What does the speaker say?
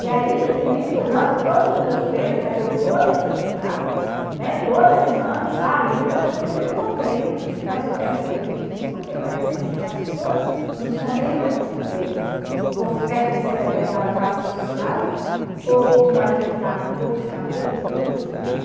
E aí, nem que ranque todos os meus pelos, mas eu vou me sujeitar, né, btoda semana estar ali gastando o que eu não tenho, mas eu quero um cabelo liso, porque parece que as as pessoas nos condenam por ter, por pertencer a determinada classe social, ou uma determinada cor de cabelo, de olho, de pele.